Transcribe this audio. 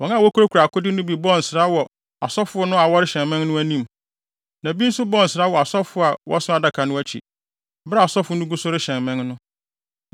Wɔn a wokurakura akode no bi bɔɔ nsra wɔ asɔfo no a wɔrehyɛn mmɛn no anim, na bi nso bɔɔ nsra wɔ asɔfo a wɔso Adaka no akyi, bere a asɔfo no gu so rehyɛn mmɛn no.